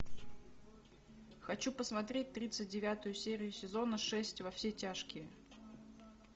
хочу посмотреть тридцать девятую серию сезона шесть во все тяжкие